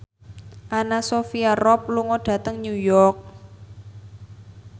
Anna Sophia Robb lunga dhateng New York